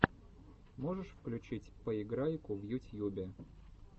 можешь включить поиграйку в ютьюбе